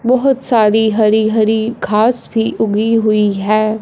बहोत सारी हरी-हरी घास भी उगी हुई है।